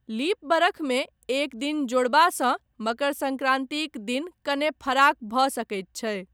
Leap बरखमे एक दिन जोड़बासँ मकर सङ्क्रान्तिक दिन कने फराक भऽ सकैत छै।